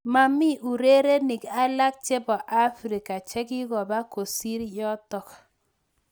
Mamii urerenik alak chepoo afrika chekikopaa kosiir yotok